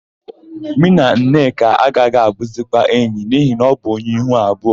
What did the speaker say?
Mụ na Nneka agaghị abụzikwa enyi n'ihi na ọ bụ onye ihu abụọ.